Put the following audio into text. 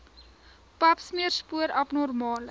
papsmeer spoor abnormale